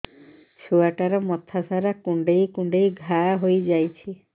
ଛୁଆଟାର ମଥା ସାରା କୁଂଡେଇ କୁଂଡେଇ ଘାଆ ହୋଇ ଯାଇଛି